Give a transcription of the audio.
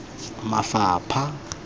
mafapha